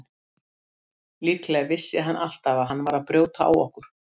Líklega vissi hann alltaf að hann var að brjóta á okkur.